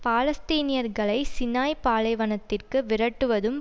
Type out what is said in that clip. பாலஸ்தீனியர்களை Sinai பாலைவனத்திற்கு விரட்டுவதும்